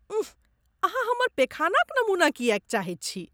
उंह, अहाँ हमर पेखानाक नमूना किएक चाहैत छी?